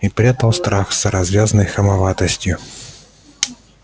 и прятал страх за развязной хамоватостью